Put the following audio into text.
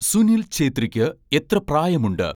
സുനിൽ ഛേത്രിക്ക് എത്ര പ്രായം ഉണ്ട്